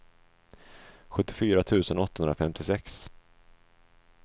sjuttiofyra tusen åttahundrafemtiosex